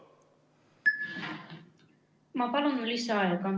Ma palun lisaaega!